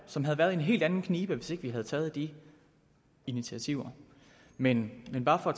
som havde været i en helt anden knibe hvis ikke vi havde taget de initiativer men men bare for at